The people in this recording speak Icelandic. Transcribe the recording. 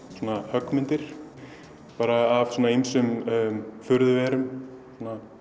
höggmyndir af ýmsum furðuverum